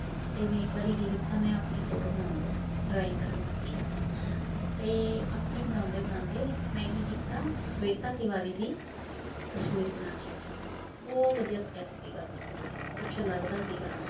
ਤੇ ਮੈਂ ਇੱਕ ਵਾਰੀ ਕੀ ਕੀਤਾ ਮੈਂ ਆਪਣੀ photo ਬਣਾਉਣ ਲੱਗੀ drawing ਕਰਨ ਲੱਗੀ ਤੇ ਆਪਣੀ ਬਣਾਉਂਦੇ ਬਣਾਉਂਦੇ ਮੈਂ ਕੀ ਕੀਤਾ ਸਵੇਤਾ ਤਿਵਾਰੀ ਦੀ ਤਸ਼ਵੀਰ ਬਣਾ ਛੱਡੀ, ਬਹੁ ਵਧੀਆ sketch ਸੀਗਾ ਕੁਛ ਲੱਗਦਾ ਸੀਗਾ।